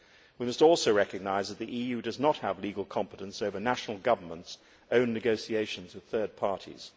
We must also recognise that the EU does not have legal competence over national governments' own negotiations with third parties.